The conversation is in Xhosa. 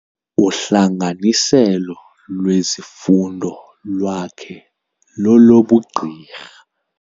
Uhlanganiselo lwezifundo lwakhe lolobugqirha.